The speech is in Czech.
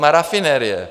Má rafinerie.